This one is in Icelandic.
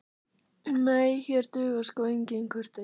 Nei, hér dugar sko engin kurteisi.